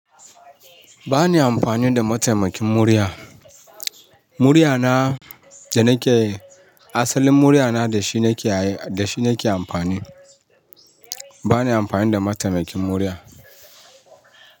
Ba ni amfani da mataimakin murya. Muryana da nake, asalin muryana da shi nake ayi da shi nake amfani. Ba ni amfani da mataimakin murya.